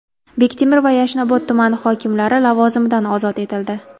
Bektemir va Yashnobod tumani hokimlari lavozimidan ozod etildi.